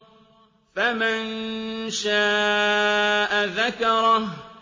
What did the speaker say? فَمَن شَاءَ ذَكَرَهُ